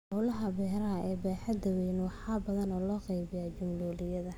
Howlaha beeraha ee baaxadda weyn waxaa badanaa loo qeybiyaa jumloleyda.